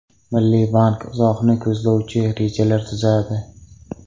Milliy bank uzoqni ko‘zlovchi rejalar tuzadi.